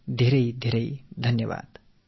நெஞ்சார்ந்த வாழ்த்துகள் மிக்க நன்றி